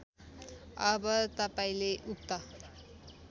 अब तपाईँले उक्त